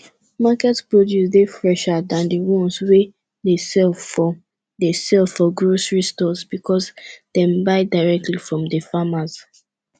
market produce dey fresher than di ones wey dey sell for dey sell for grocery stores because dem buy directly from di farmers